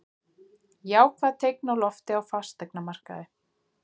Jákvæð teikn á lofti á fasteignamarkaði